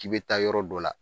K'i bɛ taa yɔrɔ dɔ la